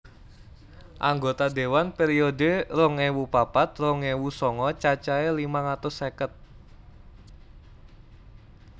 Anggota dewan periode rong ewu papat rong ewu songo cacahé limang atus seket